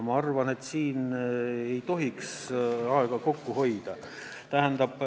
Ma arvan, et siin ei tohiks aega kokku hoida.